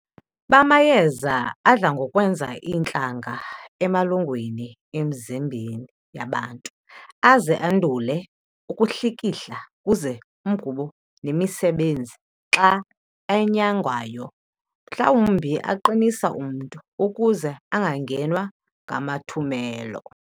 bamayeza, adla ngokwenza iintlanga emalungwini emzimbeni yabantu, aze andule ukuhlikihla kuze umgubo nemisebenzi xa enyangwayo, mhlawumbi aqinisa umntu, ukuze angangenwa ngamathumelo.